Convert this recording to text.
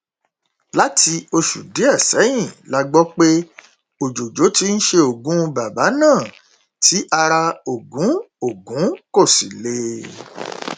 láti oṣù díẹ sẹyìn la gbọ pé òjòjò ti ń ṣe ogún bàbà náà tí ara ogún ogún kò sì le